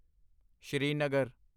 Srinagar